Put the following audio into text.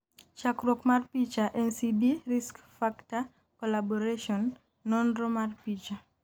chakruok mar picha, NCD Risk factor Collaboratio, nonro mar picha